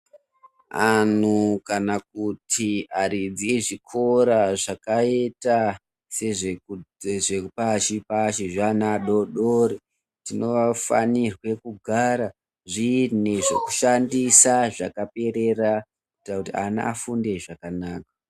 Antu kana kuti aridzi nezvikora zvakaita sezvepashi pashi veana adoodori zvinofanira kugara zviine zvekushandisa zvakaperera kuitire kuti ana afunde zvakanaka.